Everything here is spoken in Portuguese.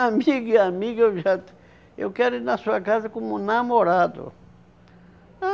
Amigo e amiga eu já... Eu quero ir na sua casa como namorado.